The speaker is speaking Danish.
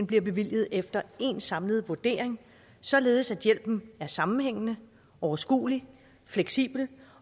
bliver bevilget efter én samlet vurdering således at hjælpen er sammenhængende overskuelig fleksibel